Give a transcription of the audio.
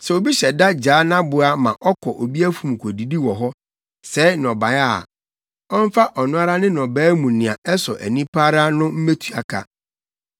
“Sɛ obi hyɛ da gyaa nʼaboa ma ɔkɔ obi afum kodidi wɔ hɔ, sɛe nnɔbae a, ɔmfa ɔno ara ne nnɔbae mu nea ɛsɔ ani pa ara no mmetua ka.